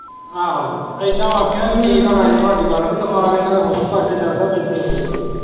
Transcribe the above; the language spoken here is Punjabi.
ਆਹੋ ਇਦਾਂ ਆਖਿਆ ਹੀ ਠੀਕ ਹੈ ਰਾਜੇ ਭਾ ਦੀ ਗੱਲ ਵੀ ਦਿਮਾਗ ਇਹਨਾਂ ਦਾ ਹੋਰ ਪਾਸੇ ਚੱਲਦਾ ਰਹਿੰਦੇ ਹੋਰ ਕਿਤੇ।